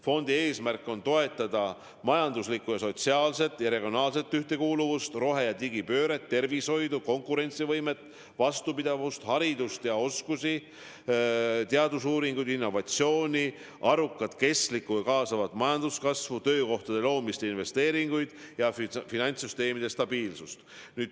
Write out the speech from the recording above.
Fondi eesmärk on toetada majanduslikku, sotsiaalset ja regionaalset ühtekuuluvust, rohe- ja digipööret, tervishoidu, konkurentsivõimet, vastupidavust, haridust ja oskusi, teadusuuringuid, innovatsiooni, arukat, kestlikku ja kaasavat majanduskasvu, töökohtade loomist, investeeringuid ja finantssüsteemi stabiilsust.